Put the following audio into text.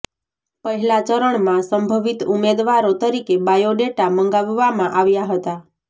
પહેલા ચરણમાં સંભવિત ઉમેદવારો તરીકે બાયોડેટા મંગાવવામાં આવ્યા હતા